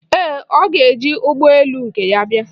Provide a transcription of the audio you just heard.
Ee, ọ ga-eji ụgbọ elu nke ya bịa.